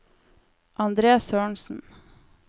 Andre Sørensen